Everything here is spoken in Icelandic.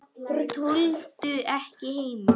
Tolldu ekki heima.